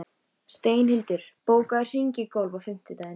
Steinhildur, bókaðu hring í golf á fimmtudaginn.